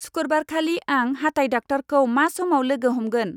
सुकुरबारखालि आं हाथाइ डाक्टारखौ मा समाव लोगो हमगोन।